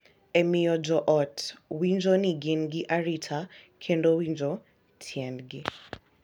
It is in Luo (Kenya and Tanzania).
E miyo jo ot winjo ni gin gi arita kendo winjo tiendgi.